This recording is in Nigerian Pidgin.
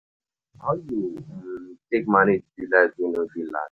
How you um take manage di light wey no dey last?